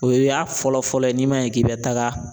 O ye y'a fɔlɔfɔlɔ ye n'i ma ɲɛ k'i bɛ taaga